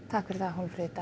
takk fyrir það